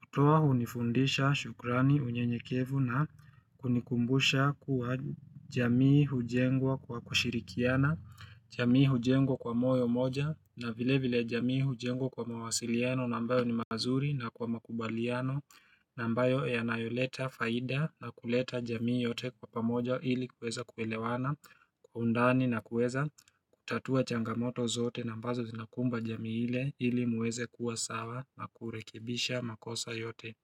Kutoa hunifundisha shukrani unyenyekevu na kunikumbusha kuwa jamii hujengwa kwa kushirikiana, jamii hujengwa kwa moyo moja na vile vile jamii hujengwa kwa mawasiliano na ambayo ni mazuri na kwa makubaliano na mbayo yanayoleta faida na kuleta jamii yote kwa pamoja ili kuweza kuelewana kwa undani na kuweza kutatua changamoto zote na ambazo zinakumba jamii ile ili muweze kuwa sawa na kurekebisha makosa yote.